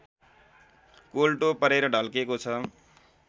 कोल्टो परेर ढल्केको छ